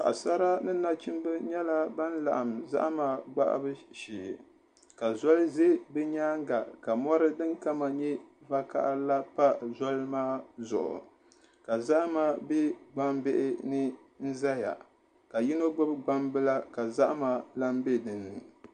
Paɣasara ni nachimbi nyɛla ban laɣam zahama gbahabu shee ka zoli ʒɛ bi nyaanga ka mɔri din kama nyɛ vakaɣa la pa zɔli maa zuɣu ka zahama bɛ gbambihi ni n ʒɛya ka yino gbubi gbambila ka zahama lahi bɛ dinni